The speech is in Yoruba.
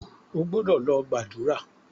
O gbọ́dọ̀ lọ gbàdúrà!